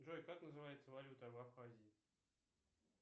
джой как называется валюта в абхазии